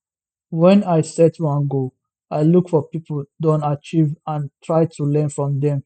when i set one goal i look for pipo don achieve and try to learn from dem